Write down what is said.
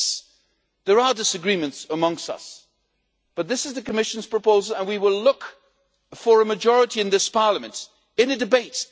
Yes, there are disagreements amongst us, but this is the Commission's proposal, and we will look for a majority in this Parliament in a debate.